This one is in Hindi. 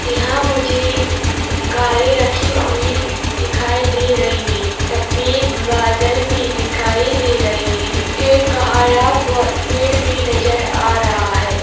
यहाँ मुझे कारे रखी हुई दिखाई दे रही हैं सफ़ेद बादल भी दिखाई दे रहे हैं एक हरा पो-पेड़ भी नज़र आ रहा हैं।